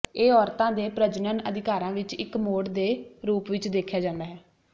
ਇਹ ਔਰਤਾਂ ਦੇ ਪ੍ਰਜਨਨ ਅਧਿਕਾਰਾਂ ਵਿੱਚ ਇੱਕ ਮੋੜ ਦੇ ਰੂਪ ਵਿੱਚ ਦੇਖਿਆ ਜਾਂਦਾ ਹੈ